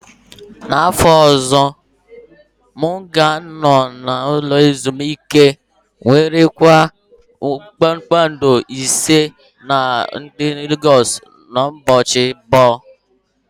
N'afọ ọzọ, m ga-anọ n'ụlọ ezimuike nwere kwado kpakpando ise nke dị na Legosu ụbọchị abụọ.